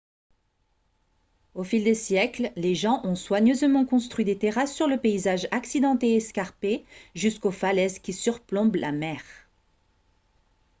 au fil des siècles les gens ont soigneusement construit des terrasses sur le paysage accidenté et escarpé jusqu'aux falaises qui surplombent la mer